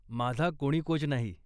माझा कोणी कोच नाही.